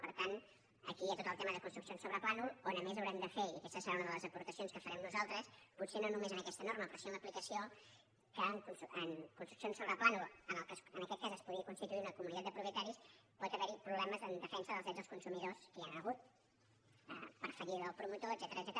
per tant aquí hi ha tot el tema de construcció sobre plànol on a més haurem de fer i aquesta serà una de les aportacions que farem nosaltres potser no només en aquesta norma però sí en l’aplicació que en construcció sobre plànol que en aquest cas es podria constituir una comunitat de propietaris pot haver hi problemes en defensa dels drets dels consumidors que ja n’hi han hagut per fallida del promotor etcètera